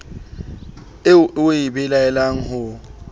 eo o e belaelang ho